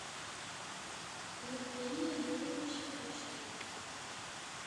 евгения юрьевича кучина